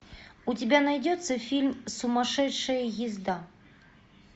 у тебя найдется фильм сумасшедшая езда